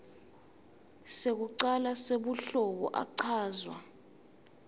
sekucala sebuhlobo achazwa